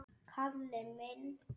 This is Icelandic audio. Kalli minn!